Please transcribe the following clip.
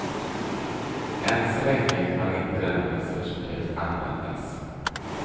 Än så länge har inte denna resurs behövt användas.